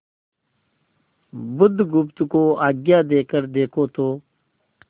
बुधगुप्त को आज्ञा देकर देखो तो